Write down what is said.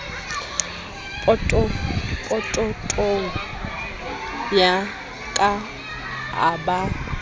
pokothong ya ka a ba